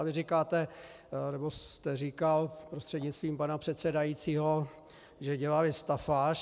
A vy říkáte, nebo jste říkal, prostřednictvím pana předsedajícího, že dělali stafáž.